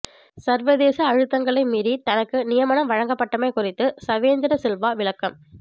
சர்வதேச அழுத்தங்களை மீறி தனக்கு நியமனம் வழங்கப்பட்டமை குறித்து சவேந்திர சில்வா விளக்கம்